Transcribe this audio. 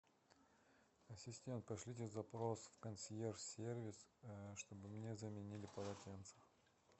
ассистент пошлите запрос в консьерж сервис чтобы мне заменили полотенце